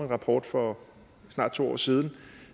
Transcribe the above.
rapport for snart to år siden